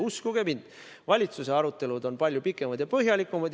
Uskuge mind, valitsuse arutelud on palju pikemad ja põhjalikumad.